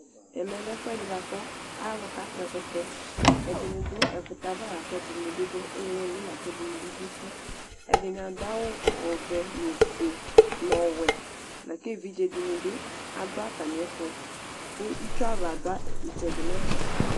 Ɛmɛlɛ ɛfʋɛdi bʋakʋ alʋ kakpɔ ɛkʋtɛ, ɛdinidʋ ɛkʋtɛ ava lakʋ ɛdini dʋ iilili lakʋ ɛdini bi dʋ uti. Ɛdini adʋ awʋ ɔvɛ nʋ ofue, nʋ ɔwɛ, lakʋ evidzedini bi adʋ atami ɛtʋ kʋ itsuava dʋ itsɛdi nʋ ɛfɛ.